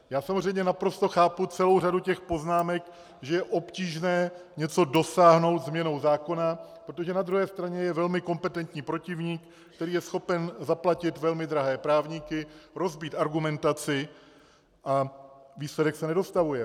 Já samozřejmě naprosto chápu celou řadu těch poznámek, že je obtížné něco dosáhnout změnou zákona, protože na druhé straně je velmi kompetentní protivník, který je schopen zaplatit velmi drahé právníky, rozbít argumentaci a výsledek se nedostavuje.